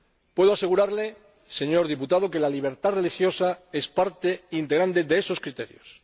Puedo asegurarle, señor diputado, que la libertad religiosa es parte integrante de esos criterios.